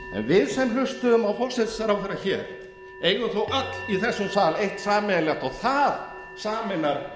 við sem hlustuðum á forsætisráðherra hér eigum þó öll í þessum sal eitt sameiginlegt og það sameinar